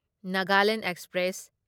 Nagaland express